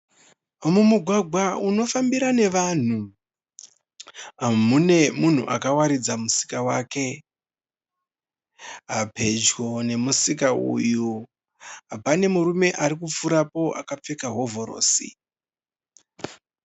mumugwagwa unofambira nevanhu mune munhu akawaridza musika wake, pedyo nemusika uyu pane murumwe arikupfuura akapfeka hovhorosi.